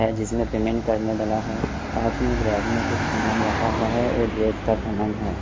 यहाँ जिसमे पेमेंट करने वाला है पास में एक रैक में कुछ सामान रखा हुआ है और ड्रेस का सामान है।